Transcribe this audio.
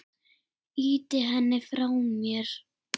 Ýti henni frá mér.